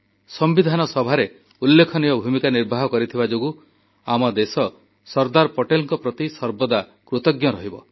ସମ୍ବିଧାନ ସଭାରେ ଉଲ୍ଲେଖନୀୟ ଭୂମିକା ନିର୍ବାହ କରିଥିବା ଯୋଗୁଁ ଆମ ଦେଶ ସର୍ଦ୍ଦାର ପଟେଲଙ୍କ ପ୍ରତି ସର୍ବଦା କୃତଜ୍ଞ ରହିବ